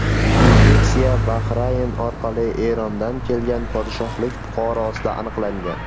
Infeksiya Bahrayn orqali Erondan kelgan podshohlik fuqarosida aniqlangan.